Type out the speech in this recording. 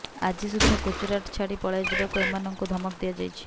ଆଜି ସୁଦ୍ଧା ଗୁଜୁରାଟ ଛାଡି ପଳାଇ ଯିବାକୁ ଏମାନଙ୍କୁ ଧମକ ଦିଆଯାଇଛି